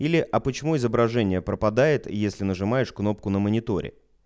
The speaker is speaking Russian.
или а почему изображение пропадает если нажимаешь кнопку на мониторе